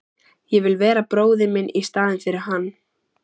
Ég vil vera bróðir minn í staðinn fyrir hann.